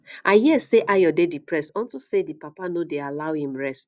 i hear say ayo dey depressed unto say the papa no dey allow him rest